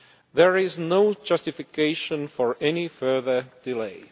There is no justification for any further delay.